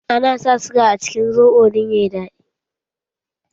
Ana sa siga a cikin soɓo don ya yi daɗi.